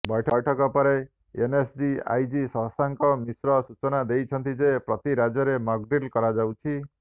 ବୈଠକ ପରେ NSG IG Shashank Mishra ସୂଚନା ଦେଇଛନ୍ତି ଯେ ପ୍ରତି ରାଜ୍ୟରେ ମକ୍ଡ୍ରିଲ୍ କରାଯାଉଛି